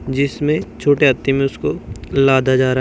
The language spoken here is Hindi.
जिसमें छोटे हाथी में उसको लादा जा--